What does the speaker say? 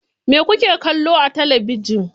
Me kuke kallo a talabijin?